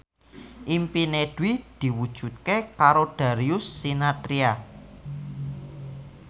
impine Dwi diwujudke karo Darius Sinathrya